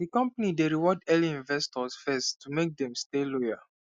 the company dey reward early investors first to make dem stay loyal